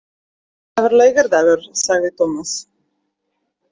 Það var laugardagur, sagði Tómas.